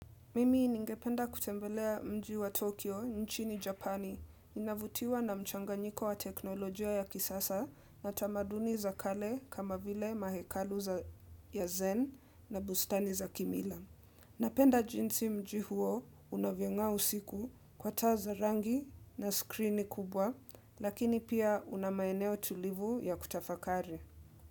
Mimi ningependa kutembelea mji wa Tokyo, nchini Japani, ninavutiwa na mchanganyiko wa teknolojia ya kisasa na tamaduni za kale kama vile mahekalu za yazen na bustani za kimila. Napenda jinsi mji huo unavyong'aa usiku kwa taa za rangi na skrini kubwa, lakini pia una maeneo tulivu ya kutafakari.